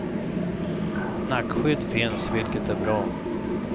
Nackskydd finns, vilket är bra.